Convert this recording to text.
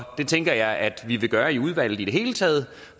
det tænker jeg at vi vil gøre i udvalget i det hele taget